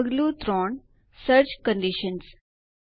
પગલું ૩ search conditions